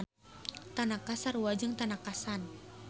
Tanaka sarua jeung Tanaka-san.